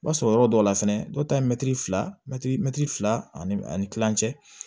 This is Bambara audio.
I b'a sɔrɔ yɔrɔ dɔw la fɛnɛ dɔw ta ye mɛtiri fila mɛtiri mɛtiri fila ani ani kilancɛ